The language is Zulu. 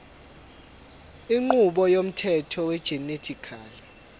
inqubo yomthetho wegenetically